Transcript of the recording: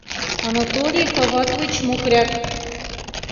анатолий фаватович мукряк